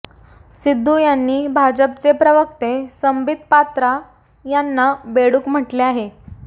सिद्धू यांनी भाजपचे प्रवक्ते संबित पात्रा यांना बेडूक म्हटले आहे